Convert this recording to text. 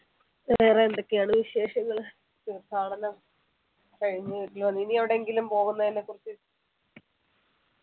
വേറെ എന്തൊക്കെയാണ് വിശേഷങ്ങള് തീർത്ഥാടനം കഴിഞ്ഞു ഇനി എവിടെ എങ്കിലും പോകുന്നതിനെക്കുറിച്ച്